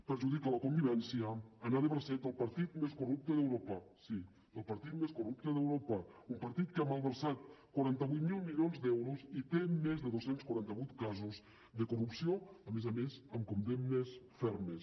perjudica la convivència anar de bracet del partit més corrupte d’europa sí el partit més corrupte d’europa un partit que ha malversat quaranta vuit mil milions d’euros i té més de dos cents i quaranta vuit casos de corrupció a més a més amb condemnes fermes